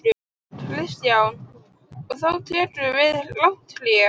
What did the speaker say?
Kristján: Og þá tekur við langt hlé?